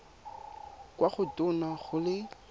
kwa go tona go le